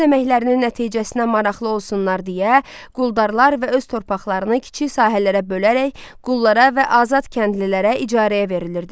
Öz əməklərinin nəticəsinə maraqlı olsunlar deyə, quldarlar və öz torpaqlarını kiçik sahələrə bölərək qullara və azad kəndlilərə icarəyə verilirdi.